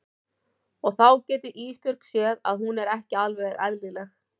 Og þá getur Ísbjörg séð að hún er ekki alveg eðlileg.